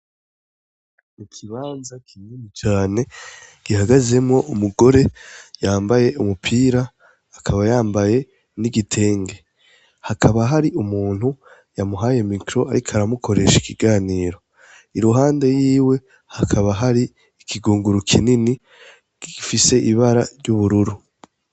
Mu ikibanza kinini cane gihagazemwo umugore yambaye umupira akaba yambaye n'igitenge , hakaba hari umuntu yamuhaye mikro, ariko aramukoresha ikiganiro, i ruhande yiwe hakaba hari ikigunguru kinini gifise iba bara ry'ubururu.